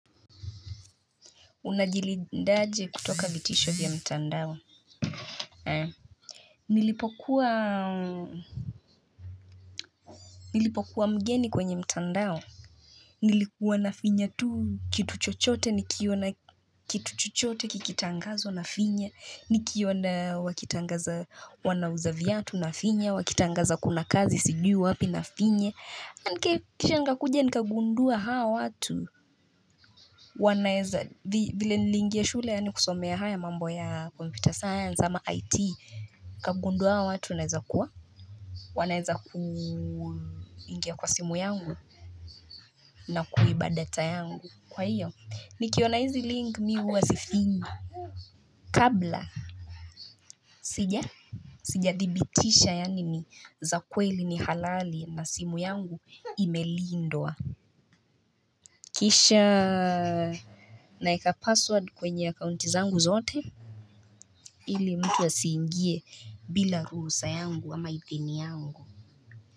Unajili ndaje kutoka vitisho vya mtandao. Nilipokuwa mgeni kwenye mtandao. Nilikuwa na finya tu. Kitu chochote, nikiona kitu chochote, kikitangazwa na finya. Nikiona wakitangaza wanauza viatu na finya. Wakitangaza kuna kazi, sijui wapi na finya. Kisha nikakuja, nkagundua hao watu. Vile nilingia shule, yani kusomea haya mambo ya computer science ama it kagunduwa watu naeza kuwa wanaeza ku ingia kwa simu yangu na kuiba data yangu kwa hiyo ni kiona hizi link mi huwa sifinyi Kabla sija Sijadhibitisha yanini za kweli ni halali na simu yangu imelindwa Kisha naeka password kwenye ya kaunti zangu zote Ili mtu ya siingie bila ruhusa yangu ama idhini yangu.